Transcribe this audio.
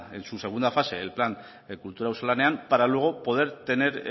en su segunda fase el plan kultura auzolanean para luego poder tener